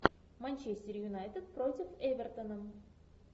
манчестер юнайтед против эвертона